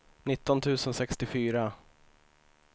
nitton tusen sextiofyra